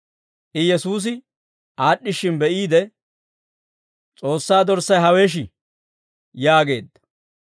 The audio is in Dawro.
I Yesuusi aad'd'ishshin be'iide, «S'oossaa dorssay hawesh!» yaageedda.